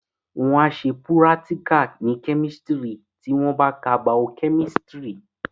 Wọ́n á ṣe púrátíkà ní kẹ́mísítírì tí wọ́n bá ka Bao-kẹ́mísítírì